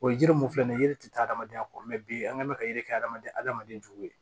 O ye yiri mun filɛ nin ye yiri tɛ taa adamadenya kɔ bi an kɛn mɛ ka yiri kɛ adamaden adamaden juw ye